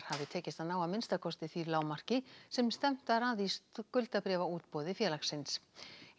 hafi tekist að ná að minnsta kosti því lágmarki sem stefnt var að í skuldabréfaútboði félagsins